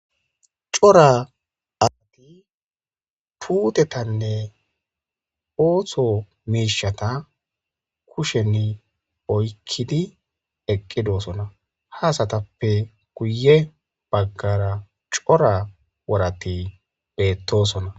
Cora asati puutetanne ooththo miishshata kushen oykkidi eqqidosona ha asatappe guye baggara cora worati beettosona.